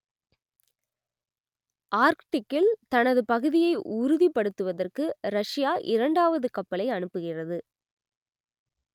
ஆர்க்டிக்கில் தனது பகுதியை உறுதிப்படுத்துவதற்கு ரஷ்யா இரண்டாவது கப்பலை அனுப்புகிறது